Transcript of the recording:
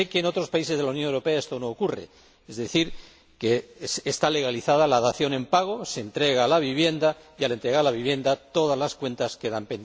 Sé que en otros países de la Unión Europea esto no ocurre es decir, que está legalizada la dación en pago se entrega la vivienda y, al entregarse la vivienda, todas las cuentas quedan saldadas.